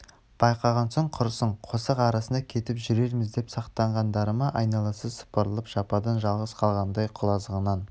байқаған соң құрысын қосақ арасында кетіп жүрерміз деп сақтанғандары ма айналасы сыпырылып жападан-жалғыз қалғандай құлазыған